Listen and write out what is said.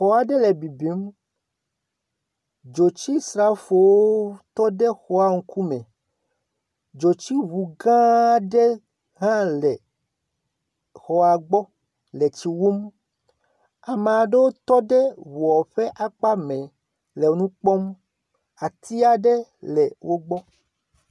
Xɔ aɖe le bibim, dzotsisrafowo tɔ ɖe xɔa ŋkume, dzotsiŋu gã aɖe hã le xɔa gbɔ le tsi wum, ame aɖewo tɔ ɖe ŋɔa ƒe akpa mɛ le nu kpɔm.